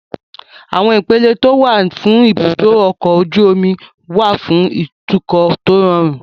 Àwọn ipele tó wà ní ibùdó ọkọ̀ ojú omi wà fún ìtúkọ̀ tó rọrùn